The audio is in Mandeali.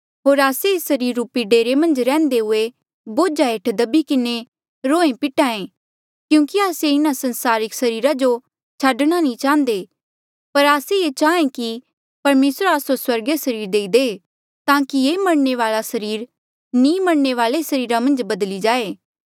होर आस्से ऐस सरीर रूपी डेरे मन्झ रैहन्दे हुये बोझा हेठ दभी किन्हें रोहेंपिट्हा ऐें क्यूंकि आस्से इन्हा सांसारिक सरीरा जो छाडणा नी चाह्न्दे पर आस्से ये चाहें कि परमेसर आस्सो स्वर्गीय सरीर देई दे ताकि ये मरणे वाले सरीर नी मरणे वाले सरीरा मन्झ बदली जाए